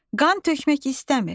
Qan tökmək istəmir.